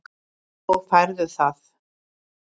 Og færðu það?